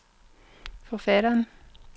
forfatteren